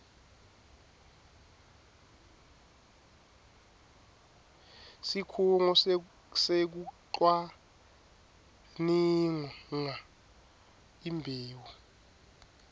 sikhungo sekucwaninga imbewu